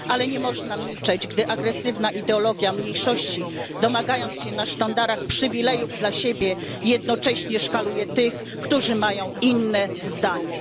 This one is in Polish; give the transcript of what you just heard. Ale nie można milczeć, gdy agresywna ideologia mniejszości, domagając się na sztandarach przywilejów dla siebie, jednocześnie szkaluje tych, którzy mają inne zdanie.